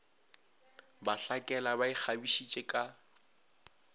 ba hlakela ba ikgabišitše ka